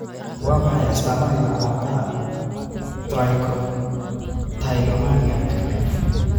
Waa maxay astamaha iyo calaamadaha Trichotillomaniaka?